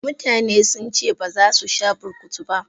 Mutane since baza su sha burkutu ba.